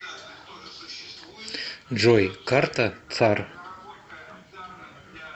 джой карта цар